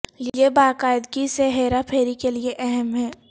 یہ باقاعدگی سے ہیرا پھیری کے لئے اہم ہے